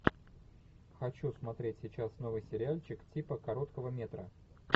хочу смотреть сейчас новый сериальчик типа короткого метра